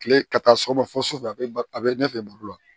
Kile ka taa sɔgɔma fo su fɛ a bɛ a bɛ ɲɛfɛ baro la